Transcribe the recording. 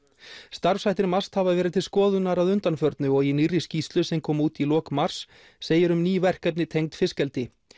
starfshættir MAST hafa verið til skoðunar að undanförnu og í nýrri skýrslu sem kom út í lok mars segir um ný verkefni tengd fiskeldi